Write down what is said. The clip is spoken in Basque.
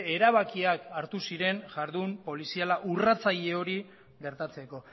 erabakiak hartu ziren jardun poliziala urratzaile hori gertatzeko